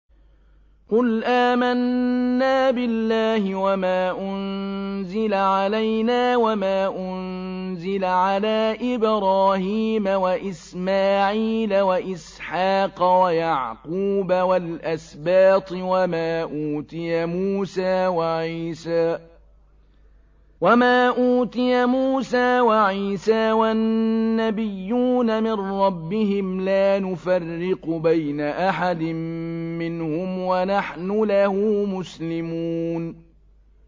قُلْ آمَنَّا بِاللَّهِ وَمَا أُنزِلَ عَلَيْنَا وَمَا أُنزِلَ عَلَىٰ إِبْرَاهِيمَ وَإِسْمَاعِيلَ وَإِسْحَاقَ وَيَعْقُوبَ وَالْأَسْبَاطِ وَمَا أُوتِيَ مُوسَىٰ وَعِيسَىٰ وَالنَّبِيُّونَ مِن رَّبِّهِمْ لَا نُفَرِّقُ بَيْنَ أَحَدٍ مِّنْهُمْ وَنَحْنُ لَهُ مُسْلِمُونَ